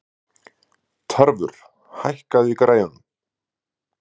Tarfur, hækkaðu í græjunum.